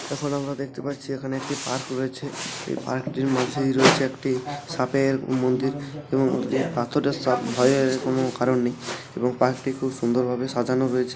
এখানে আমরা দেখতে পারছি এখানে একটি পার্ক রয়েছে পার্ক এর মাঝেই রয়েছে একটি সাপের- মন্দির এবং পাথরের সাপ ভয়ের- কোন কারণ নেই এবং পার্ক টি খুব সুন্দর ভাবে সাজানো হয়েছে।